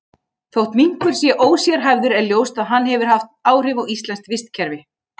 Þótt minkur sé ósérhæfður er ljóst að hann hefur haft áhrif á íslenskt vistkerfi.